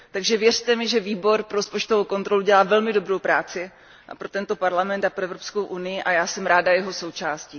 Takže věřte mi, že Výbor pro rozpočtovou kontrolu dělá velmi dobrou práci pro tento parlament a pro Evropskou unii a já jsem ráda jeho součástí.